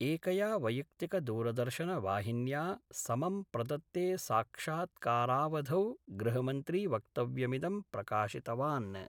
एकया वैयक्तिकदूरदर्शनवाहिन्या समं प्रदत्ते साक्षात्कारावधौ गृहमन्त्री वक्तव्यमिदं प्रकाशितवान्।